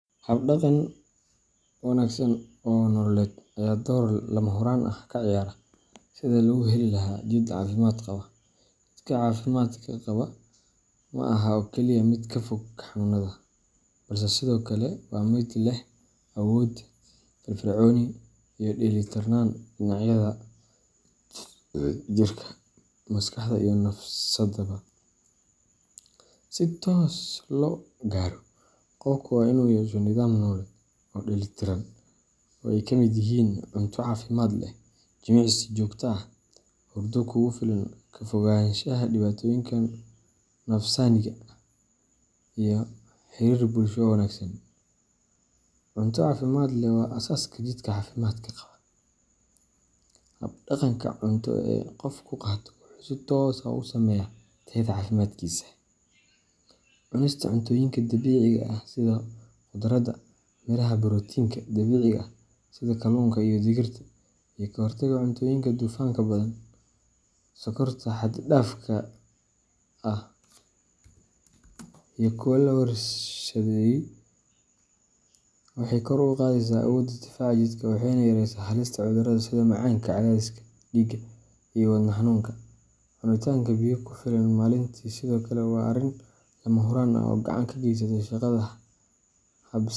Hab dhaqan wanaagsan oo nololeed ayaa door lama huraan ah ka ciyaara sidii lagu heli lahaa jidh caafimaad qaba. Jidhka caafimaad qaba ma aha oo kaliya mid ka fog xanuunada, balse sidoo kale waa mid leh awood, firfircooni, iyo dheelli tirnaan dhinacyada jirka, maskaxda, iyo nafsaddaba. Si taas loo gaaro, qofku waa inuu yeesho nidaam nololeed oo dheellitiran oo ay ka mid yihiin cunto caafimaad leh, jimicsi joogto ah, hurdo kugu filan, ka fogaanshaha dhibaatooyinka nafsaaniga ah, iyo xiriir bulsho oo wanaagsan. Cunto caafimaad leh waa aasaaska jidhka caafimaadka qaba. Hab dhaqanka cunto ee qofku qaato wuxuu si toos ah u saameeyaa tayada caafimaadkiisa. Cunista cuntooyinka dabiiciga ah sida khudradda, miraha, borotiinka dabiiciga ah sida kalluunka iyo digirta, iyo ka hortagga cuntooyinka dufanka badan, sonkorta xad dhaafka ah leh, iyo kuwa la warshadeeyey waxay kor u qaadaysaa awoodda difaaca jidhka, waxayna yareysaa halista cudurrada sida macaanka, cadaadiska dhiigga, iyo wadne xanuunka. Cunitaanka biyo ku filan maalintii sidoo kale waa arrin lama huraan ah oo gacan ka geysta shaqada habsami.